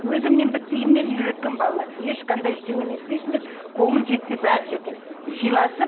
өзім мен биттейімнен үйреткенмін балаларды ешқандай ештеңе не етпейсіңдер көңіл жетсе бәрі жетеді сыйласып